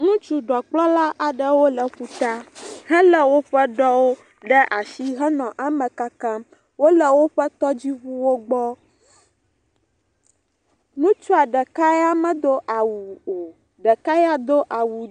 Ŋutsu ɖɔkplɔla aɖewo le ƒuta, helé woƒe ɖɔwo ɖe asi henɔ eme kakam. Wonɔ woƒe tɔdziŋuwo gbɔ, ŋutsua ɖeka ya medo awu o, ɖeka do…